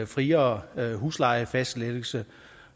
friere huslejefastsættelse